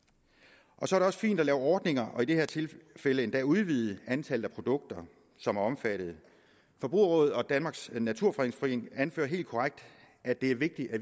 så er det også fint at lave ordninger og i det her tilfælde endda at udvide antallet af produkter som er omfattet forbrugerrådet og danmarks naturfredningsforening anfører helt korrekt at det er vigtigt at